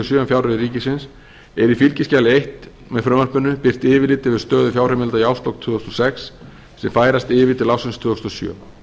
sjö er í fylgiskjali eins með frumvarpinu birt yfirlit yfir stöðu fjárheimilda í árslok tvö þúsund og sex sem færast yfir til ársins tvö þúsund og sjö